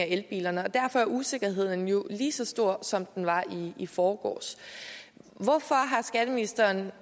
elbilerne og derfor er usikkerheden lige lige så stor som den var i i forgårs hvorfor har skatteministeren